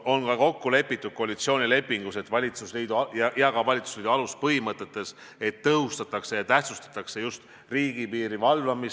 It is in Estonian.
Koalitsioonilepingus ja ka valitsusliidu aluspõhimõtetes on kokku lepitud, et tõhustatakse ja tähtsustatakse just riigipiiri valvamist.